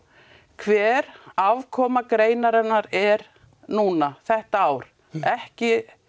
hver afkoma greinarinnar er núna þetta ár ekki